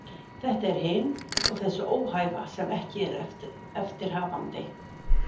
Þetta er hin og þessi óhæfa sem ekki er eftir hafandi.